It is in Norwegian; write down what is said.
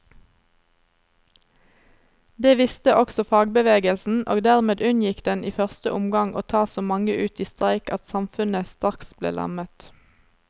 Det visste også fagbevegelsen, og dermed unngikk den i første omgang å ta så mange ut i streik at samfunnet straks ble lammet.